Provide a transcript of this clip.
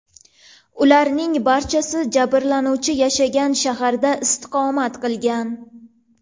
Ularning barchasi jabrlanuvchi yashagan shaharda istiqomat qilgan.